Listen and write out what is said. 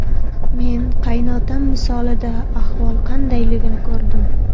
Men qaynotam misolida ahvol qandayligini ko‘rdim.